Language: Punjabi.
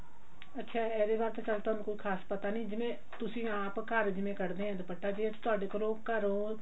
ਅੱਛਾ ਇਹਦੇ ਬਾਰੇ ਤਾਂ ਸਾਨੂੰ ਕੋਈ ਖ਼ਾਸ ਪਤਾ ਨਹੀਂ ਜਿਵੇਂ ਤੁਸੀਂ ਆਪ ਜਿਵੇਂ ਘਰ ਕਢ ਦੇ ਆ ਦੁਪੱਟਾ ਜੇ ਅਸੀਂ ਤੁਹਾਡੇ ਕੋਲੋਂ ਘਰੋਂ